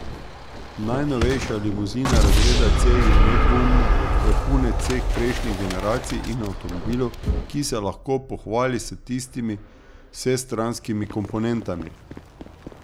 Najnovejša limuzina razreda C je nedvomno vrhunec vseh prejšnjih generacij in avtomobil, ki se lahko pohvali s tistimi vsestranskimi komponentami.